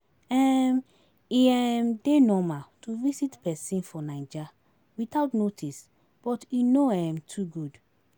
um E um dey normal to visit pesin for Naija witout notice but e no um too good.